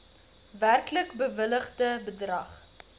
werklik bewilligde bedrag